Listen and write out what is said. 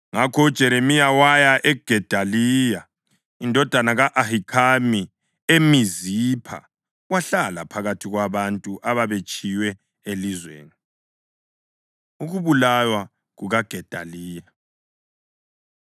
Ngakho uJeremiya waya kuGedaliya indodana ka-Ahikhami eMizipha wahlala phakathi kwabantu ababetshiywe elizweni. Ukubulawa KukaGedaliya